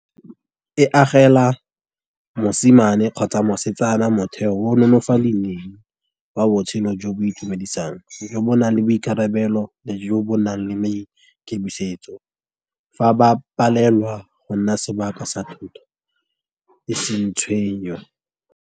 E agela mosimane kgotsa mosetsana motheo o wa botshelo jo bo itumedisang, jo bo nang le boikarabelo, jo bo nang le maikemisetso. Fa ba palelwa go nna sebaka sa thoto e seng tshwenyo.